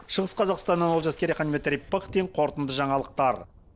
шығыс қазақстаннан олжас керейхан дмитрий пыхтин қорытынды жаңалықтар